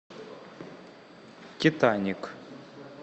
титаник